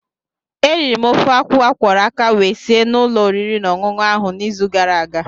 Eriri m ofe akwụ akwọrọ aka wee si na ụlọ oriri na ọṅụṅụ ahụ n'izu gara aga.